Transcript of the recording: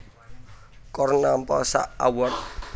Korn nampa sak award